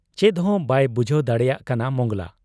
ᱪᱮᱫᱦᱚᱸ ᱵᱟᱭ ᱵᱩᱡᱷᱟᱹᱣ ᱫᱟᱲᱮᱭᱟᱜ ᱠᱟᱱᱟ ᱢᱚᱸᱜᱽᱞᱟ ᱾